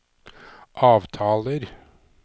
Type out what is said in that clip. avtaler